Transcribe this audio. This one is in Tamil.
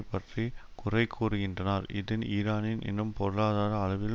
பற்றி குறைகூறுகின்றனர் இதுன் ஈரான் இன்னும் பொருளாதார அளவில்